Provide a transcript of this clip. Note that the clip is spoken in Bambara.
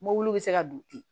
Mɔbiliw bɛ se ka don ten